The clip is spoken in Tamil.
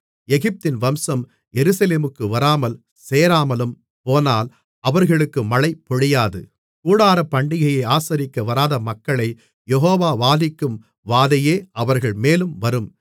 எகிப்தின் வம்சம் எருசலேமுக்கு வராமல் சேராமலும்போனால் அவர்களுக்கு மழை பொழியாது கூடாரப்பண்டிகையை ஆசரிக்க வராத மக்களைக் யெகோவா வாதிக்கும் வாதையே அவர்கள்மேலும் வரும்